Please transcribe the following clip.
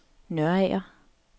Nørager